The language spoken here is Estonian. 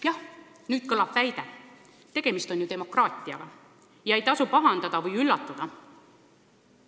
Jah, nüüd kõlab väide: tegemist on ju demokraatiaga, ei tasu pahandada või üllatuda!